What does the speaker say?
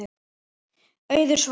Auður Svala.